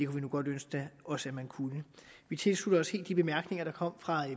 vi nu godt ønske os at man kunne vi tilslutter os helt de bemærkninger der kom fra